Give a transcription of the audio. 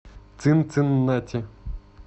цинциннати